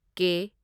ꯀꯦ